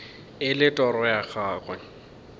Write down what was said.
e le toro ya gago